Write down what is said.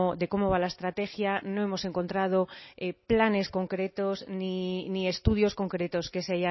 de cómo va la estrategia no hemos encontrado planes concretos ni estudios concretos que se